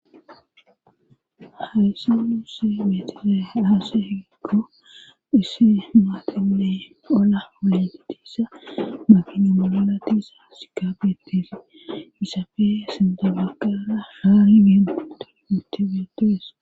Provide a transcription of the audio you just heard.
hayssi nuusse metile aase hegekgo hisse maaqamale ola ole tiissa maginomogolatisa sikaabetesi misafe sinda bagqaara haari bienuti mitebeotees